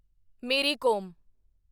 ਮੇਰੀ ਕੋਮ